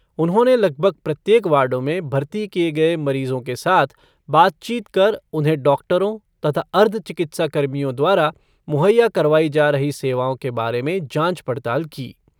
उन्होंने लगभग प्रत्येक वार्डों में भर्ती किए गए मरीजों के साथ बातचीत कर उन्हें डॉक्टरों तथा अर्ध चिकित्सा कर्मियों द्वारा मुहैय्या करवाई जा रही सेवाओं के बारे में जाँच पड़ताल की।